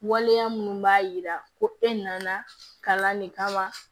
Waleya minnu b'a yira ko e nana kalan de kama